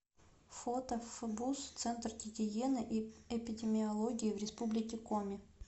фото фбуз центр гигиены и эпидемиологии в республике коми